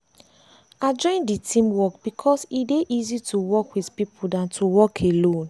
i join the team work because e dey easy to work with people dan to work alone.